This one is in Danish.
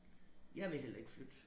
Jeg vil heller ikke flytte